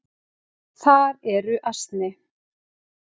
Þar eru ansi